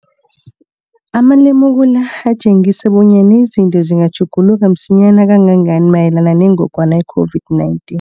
Amalemuko la atjengisa bonyana izinto zingatjhuguluka msinyana kangangani mayelana nengogwana i-COVID-19.